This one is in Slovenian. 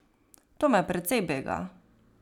To me precej bega.